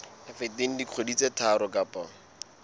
feteng dikgwedi tse tharo kapa